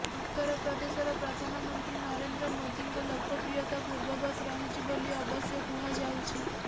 ଉତ୍ତର ପ୍ରଦେଶର ପ୍ରଧାନମନ୍ତ୍ରୀ ନରେନ୍ଦ୍ର ମୋଦିଙ୍କ ଲୋକପ୍ରିୟତା ପୂର୍ବବତ୍ ରହିଛି ବୋଲି ଅବଶ୍ୟ କୁହାଯାଉଛି